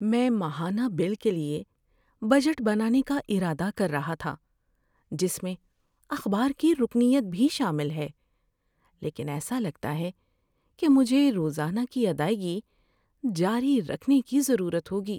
میں ماہانہ بل کے لیے بجٹ بنانے کا ارادہ کر رہا تھا، جس میں اخبار کی رکنیت بھی شامل ہے، لیکن ایسا لگتا ہے کہ مجھے روزانہ کی ادائیگی جاری رکھنے کی ضرورت ہوگی۔